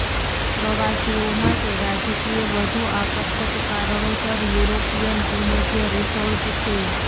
પ્રવાસીઓ માટે રાજકીય વધુ આકર્ષક કારણોસર યુરોપિયન ભૂમધ્ય રીસોર્ટ છે